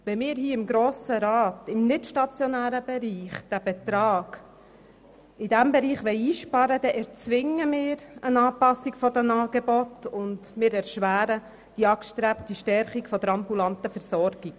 Wenn wir seitens des Grossen Rats im nicht-stationären Bereich diesen Betrag einsparen wollen, erzwingen wir eine Anpassung der Angebote und erschweren die angestrebte Stärkung der ambulanten Versorgung.